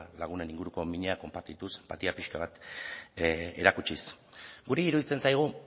lagunen inguruko mina konpartituz enpatia pixka bat erakutsiz guri iruditzen zaigu